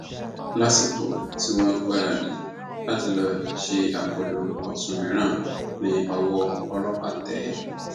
lásìkò tí wọn ń gbáradì láti lọọ ṣe akólú ọtún mìíràn ni ọwọ ọlọpàá tẹ ẹ